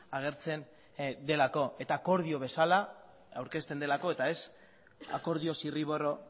agertzen delako eta akordio bezala aurkezten delako eta ez akordio zirriborro